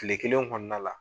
Kile kelen kɔnɔna la.